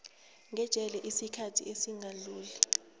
ngejele isikhathi esingadluli